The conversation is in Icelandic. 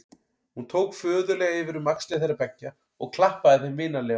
Hann tók föðurlega yfir um axlir þeirra beggja og klappaði þeim vinalega.